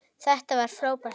Þetta var frábær dagur.